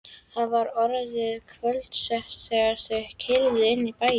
Það var orðið kvöldsett þegar þau keyrðu inn í bæinn.